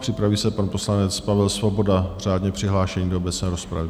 Připraví se pan poslanec Pavel Svoboda, řádně přihlášený do obecné rozpravy.